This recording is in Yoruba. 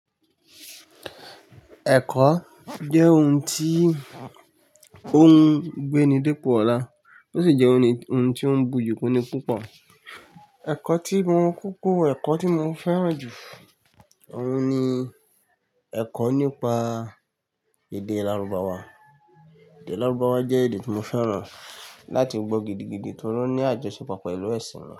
Ẹ̀kọ́ jẹ́ ohun tí ó ń gbé ni dípò ọ̀la ó sì jẹ́ ohun tí ó ń buyì kúni púpọ̀. Ẹ̀kọ́ tí mo kúkú, ẹ̀kọ́ tí mo fẹ́ràn jù ó ń ni ẹ̀kọ́ nípa èdè lárúbáwá. Èdè lárúbáwá jẹ́ èdè tí mo fẹ́ràn láti gbọ́ gidigidi torí ó ní àjọṣepọ̀ pẹ̀lú ẹ̀sìn mi.